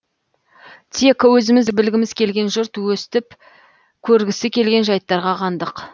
тек өзіміз білгіміз келген жұрт өстіп көргісі келген жайттарға қандық